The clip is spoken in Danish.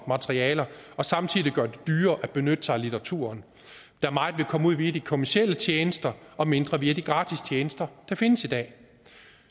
materialer og samtidig gør det dyrere at benytte sig af litteraturen da meget vil komme via de kommercielle tjenester og mindre via de gratis tjenester der findes i dag